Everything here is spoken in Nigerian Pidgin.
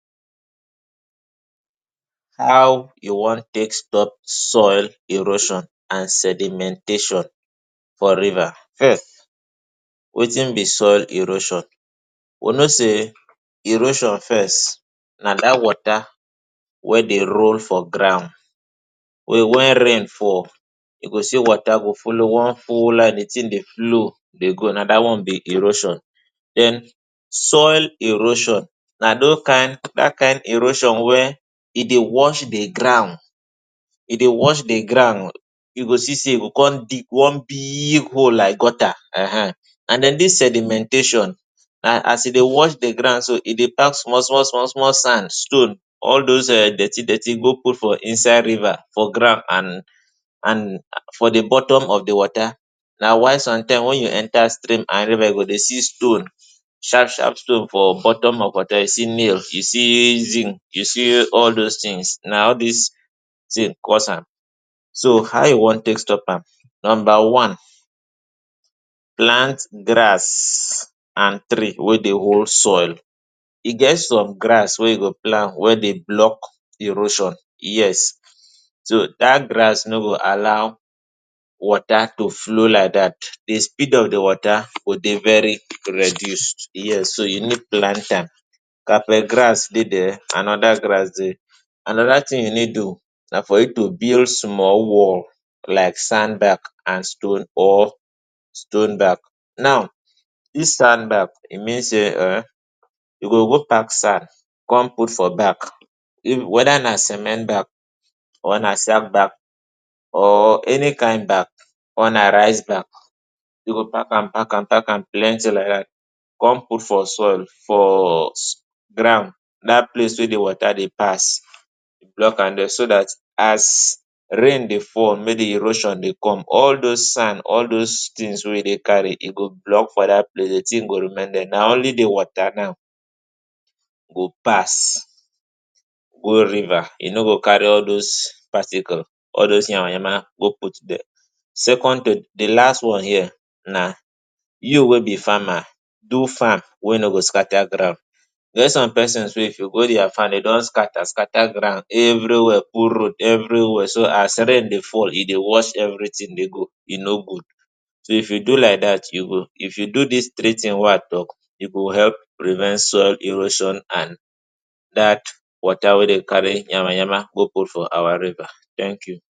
How you wan take stop soil erosion and sedimentation for riva? um wetin be soil erosion? We know sey erosion first na da wota wey dey role for ground wen rain fall, wen rain fall you go see wota dey folo one full line, the tin dey flow dey go dat one be erosion, den soil erosion na do kin dat kind erosion, wey e dey wash the ground, you go see sey e go come dig one big hole like gota um. And den this sedimentation na as e dey wash the ground so, e dey pak small-small-small- sand, stone all dos dirti-dirti go put for inside riva for ground and for the bottom of the wota. Dat is why somtime wen you enta stream and riva you go dey see stone. Shap-shap stone for bottom of wota, you nails you see you see all dos tins dey cause am. so How you wan take stop am? Nomba one: plant gras and tree wey dey hold soil; e get som gras wey you go plant wey dey blok erosion, yes! to Dat gras no go allow wota to flow like dat, the speed of the wota go dey very reduce.yes, you need plant am. Carpet gras dey dia, anoda gras dey. Anoda tin you need to do na for you to build small wall. Like sand bag and stone or stone bag, now, dis sound bag e mean sey um, you go go pack sand come put for bag, weda na cement bag or na sak bag or any kind bag. Or na rice bag, you go pak -am-pak –am pak-am plenty like dat, come put for soil, for ground dat place wey the wota dey pass, blok am dia so dat as rain dey fall mey the erosion dey come. All dos sand all dos tin wey e dey kari, e go blok for dat place, the tin go remain dia, na oly the wota now go pass go riva, e no go kari all dos particle, all dos yama-yama go put dia. secondly The last one here na you wey be fama, do fam wey no go skata ground, e get som pesins wey if you go dia fam dem don skata-skata ground every where, put road every where. So as rain dey fall, e dey wash every tin dey go, e no gud so if you do like dat you go, if you do dis three tin wey I talk, e go help prevent soil erosion and dat wota wey dey kari yama-yama go put for our riva, thank you.